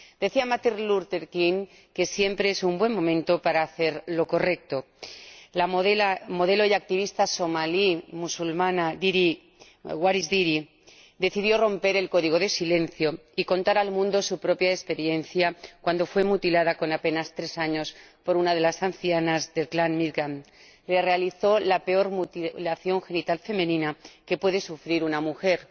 Decía Martin Luther King que siempre es un buen momento para hacer lo correcto. La modelo y activista somalí musulmana Waris Dirie decidió romper el código de silencio y contar al mundo su propia experiencia, cuando fue mutilada —con apenas tres años— por una de las ancianas del clan midgaan que le realizó la peor mutilación genital femenina que puede sufrir una mujer